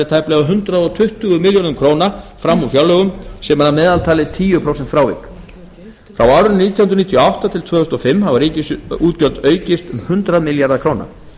tæplega hundrað tuttugu milljarða króna fram úr fjárlögum sem er að meðaltali tíu prósent frávik á árunum nítján hundruð níutíu og átta til tvö þúsund og fimm hafa ríkisútgjöld aukist um hundrað milljarða króna